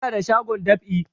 Ina da shagon dab'i